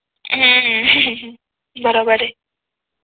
हम्म बरोबर आहे.